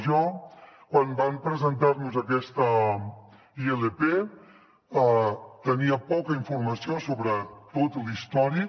jo quan van presentar nos aquesta ilp tenia poca informació sobre tot l’històric